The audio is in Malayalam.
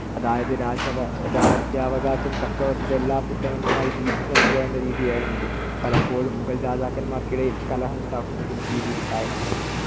അതായതു രാജവ~ രാജ്യാവകാശം ചക്രവർത്തിയുടെ എല്ലാ പുത്രർക്കുമായി വീതിച്ചു നൽകുക എന്ന രീതിയായിരുന്നു ഇത്. പലപ്പോഴും മുഗൾ രാജാക്കന്മാർക്കിടയിൽ കലഹം ഉണ്ടാക്കുന്നതിന്‌ ഈ രീതി കാരണമായി.